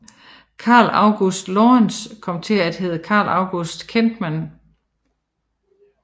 Carl August Lorentzen kom til at hedde Carl August Kentman